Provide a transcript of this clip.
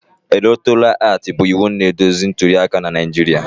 Electoral Act bụ iwu na-eduzi ntuli aka na Naijiria